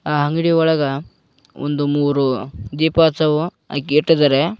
ಆ ಅಂಗಡಿ ಒಳಗ ಒಂದ ಮೂರು ದೀಪ ಹಚ್ಚುವ ಇಟ್ಟಿದ್ದಾರೆ.